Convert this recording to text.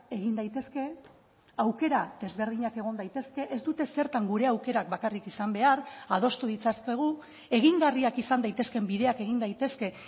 egin daitezke aukera desberdinak egon daitezke ez dute zertan gure aukerak bakarrik izan behar adostu ditzakegu egingarriak izan daitezkeen bideak egin daitezke